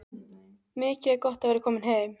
Mikið er gott að vera komin heim!